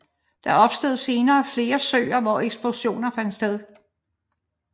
Der opstod senere flere søer hvor eksplosionerne fandt sted